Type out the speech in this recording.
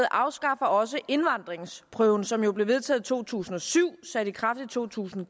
afskaffer også indvandringsprøven som jo blev vedtaget i to tusind og syv sat i kraft i to tusind